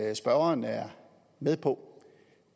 at spørgeren er med på